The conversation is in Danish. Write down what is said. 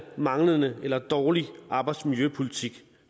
manglende eller dårlig arbejdsmiljøpolitik